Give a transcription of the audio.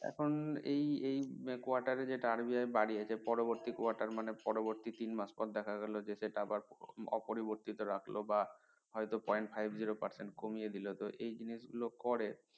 এখন এই এই quarter এ যেটা RBI বাড়িয়েছে পরবর্তী quarter মানে পরবর্তী তিন মাস পর দেখা গেলো যে সেটা আবার অপরিবর্তিত রাখল বা point five zero percent কমিয়ে দিলো তো এই জিনিসগুলো করে